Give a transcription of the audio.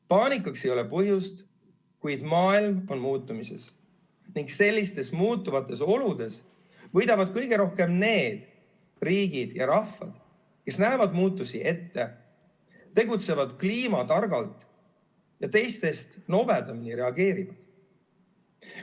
Paanikaks ei ole põhjust, kuid maailm on muutumises ning sellistes muutuvates oludes võidavad kõige rohkem need riigid ja rahvad, kes näevad muutusi ette, tegutsevad kliimatargalt ja teistest nobedamini reageerivad.